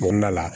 Kɔnɔna la